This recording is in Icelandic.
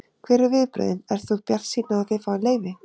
Hver eru viðbrögðin, ert þú bjartsýnn á að þið fáið leyfi?